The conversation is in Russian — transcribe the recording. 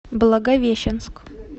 благовещенск